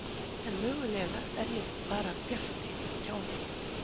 En mögulega er ég bara bjartsýnn kjáni.